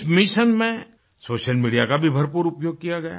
इस मिशन में social media का भी भरपूर प्रयोग किया गया